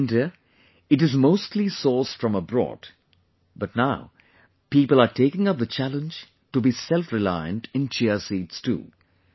In India, it is mostly sourced from abroad but now people are taking up the challenge to be selfreliant in Chia seeds too